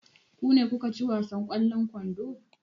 Ku ne kuka ci wasan ƙwallon kwando?